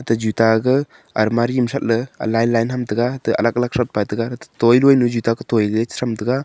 juta ga almari ma that le line line ham taga te alak alak thot pai taiga gato toiloi nyu juta ka toi ga cha tha taiga.